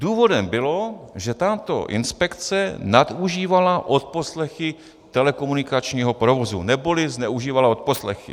Důvodem bylo, že tato inspekce nadužívala odposlechy telekomunikačního provozu, neboli zneužívala odposlechy.